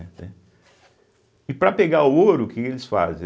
E para pegar o ouro, o que eles fazem